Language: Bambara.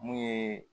Mun ye